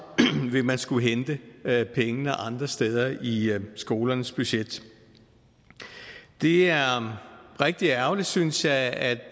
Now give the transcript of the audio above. vil man skulle hente pengene andre steder i skolernes budgetter det er rigtig ærgerligt synes jeg at